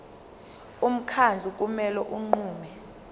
umkhandlu kumele unqume